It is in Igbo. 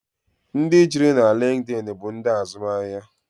Ndị juru na liinkid bụ ndị azụmahịa.